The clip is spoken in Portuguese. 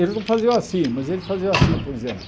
Eles não faziam assim, mas eles faziam assim, por exemplo.